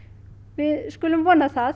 við skulum vona það